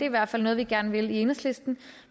i hvert fald noget vi gerne vil i enhedslisten